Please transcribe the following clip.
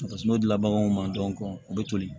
n'o dila baganw ma dɔrɔn u bɛ toli